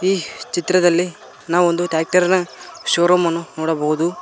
ಈ ಚಿತ್ರದಲ್ಲಿ ನಾವು ಒಂದು ಟ್ರ್ಯಾಕ್ಟರ್ ಇನ ಶೋರೂಮ್ ಅನ್ನು ನೋಡಬಹುದು.